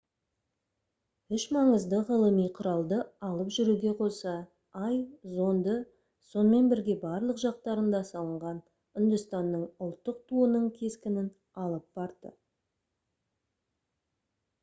үш маңызды ғылыми құралды алып жүруге қоса ай зонды сонымен бірге барлық жақтарында салынған үндістанның ұлттық туының кескінін алып барды